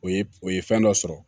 O ye o ye fɛn dɔ sɔrɔ